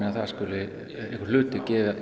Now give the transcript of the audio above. það skuli einhver hluti